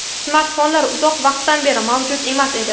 Smartfonlar uzoq vaqtdan beri mavjud emas edi.